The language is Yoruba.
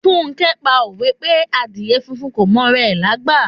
Funke pa òwe pé Àdíè funfun kò m'ora rẹ̀ lágbà.